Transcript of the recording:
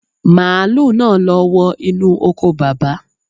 Màálù náà ló wọ inú oko Bàbá.